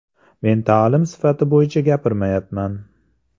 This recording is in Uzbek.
Men ta’lim sifati bo‘yicha gapirmayapman.